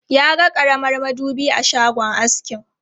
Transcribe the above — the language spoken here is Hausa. Ya ga karamar madubi a shagon askin.